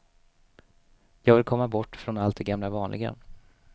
Jag vill komma bort från allt det gamla vanliga.